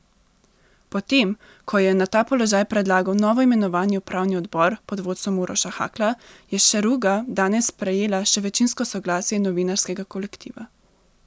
Potem ko jo je na ta položaj predlagal novoimenovani upravni odbor pod vodstvom Uroša Hakla, je Šeruga danes prejela še večinsko soglasje novinarskega kolektiva.